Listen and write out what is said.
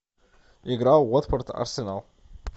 игра уотфорд арсенал